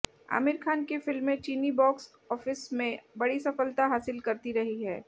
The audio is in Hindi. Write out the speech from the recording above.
आमिर खान की फिल्में चीनी बॉक्स ऑफिस में बड़ी सफलता हासिल करती रही हैं